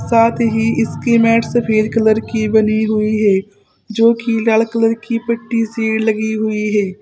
साथ ही इसकी मैट सफेद कलर की बनी हुई है जो की लाल कलर की पट्टी सी लगी हुई है।